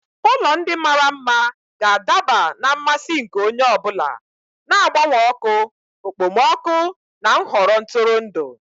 Ụlọ ndị mara mma ga-adaba na mmasị nke onye ọ bụla, na-agbanwe ọkụ, okpomọkụ na nhọrọ ntụrụndụ.